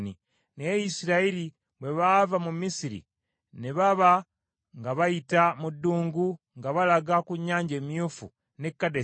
Naye Isirayiri bwe baava mu Misiri ne baba nga bayita mu ddungu nga balaga ku Nnyanja Emyufu n’e Kadesi,